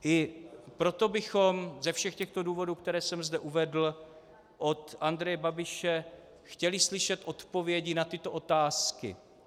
I proto bychom ze všech těchto důvodů, které jsem zde uvedl, od Andreje Babiše chtěli slyšet odpovědi na tyto otázky.